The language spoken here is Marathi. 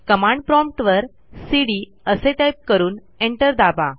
कमांड प्रॉम्प्ट वर सीडी असे टाईप करून एंटर दाबा